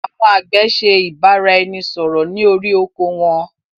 Àwọn àgbẹ̀ ṣe ìbáraẹnisọọ̀rọ̀ ni orí oko won.